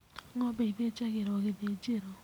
Ng'ombe ithĩnjagĩrwo gĩthĩnjĩro.